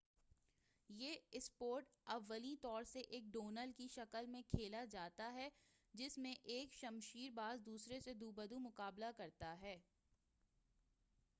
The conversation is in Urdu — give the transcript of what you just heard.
یہ اسپورٹ اولیں طور سے ایک ڈوئل کی شکل میں کھیلا جاتا ہے جس میں ایک شمشیر باز دوسرے سے دو بدو مقابلہ کرتا ہے